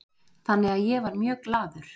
Þannig að ég var mjög glaður